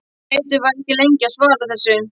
Teitur var ekki lengi að svara þessu.